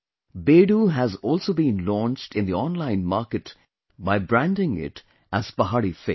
Bedu has also been launched in the online market by branding it as Pahari Fig